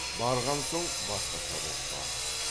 барған соң басқаша боп бар